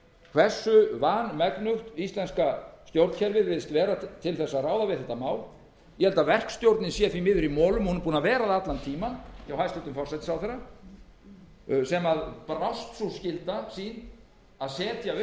hversu vanmegnugt íslenska stjórnkerfið virðist vera til þess að ráða við þetta mál ég held að verkstjórnin sé því miður í molum hún er búin að vera það allan tímann hjá hæstvirtum forsætisráðherra sem brást sú skylda sín að setja upp